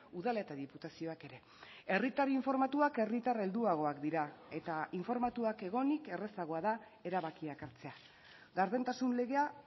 udal eta diputazioak ere herritar informatuak herritar helduagoak dira eta informatuak egonik errazagoa da erabakiak hartzea gardentasun legea